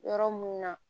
Yɔrɔ mun na